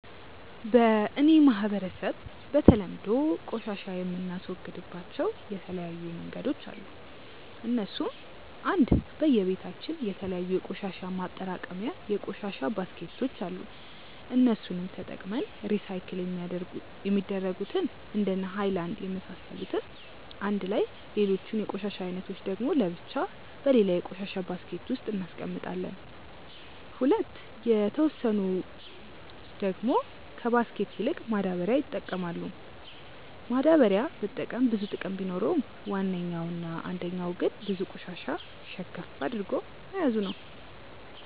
በ እኔ ማህበረሰብ በተለምዶ ቆሻሻ የምናስወግድባቸው የተለያዩ መንገዶች አሉ እነሱም :- 1. በየ በታችን የተለያዩ የቆሻሻ ማጠራቀሚታ የቆሻሻ ባስኬቶች አሉ እነሱንም ተጠቅመን ሪሳይክል የሚደረጉትን እንደነ ሃይላንድ የመሳሰሉትን አንድላይ ሌሎቹን የቆሻሻ አይነቶች ደግሞ ለብቻ በሌላ የቆሻሻ ባስኬት ውስጥ እናስቀምጣለም። 2. የተወሰኑ በቶች ደግሞ ከባስኬት ይልቅ ማዳበሪያ ይጠቀማሉ፤ ማዳበሪያ መጠቀም ብዙ ጥቅም ቢኖረውም ዋነኛው እና አንደኛው ግን ብዙ ቆሻሻ ሸከፍ አድርጎ መያዙ ነው።